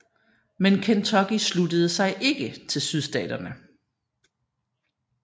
Men Kentucky sluttede sig ikke til Sydstaterne